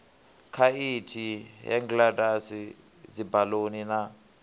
khaithi hang gliders dzibaluni na